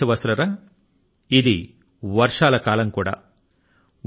నా ప్రియమైన దేశవాసులారా ఇది వర్షాల కాలం కూడా